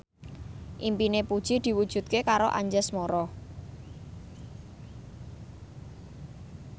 impine Puji diwujudke karo Anjasmara